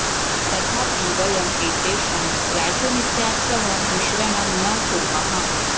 तथापि वयं एतेषां राजनीत्या सह मिश्रणं न कुर्मः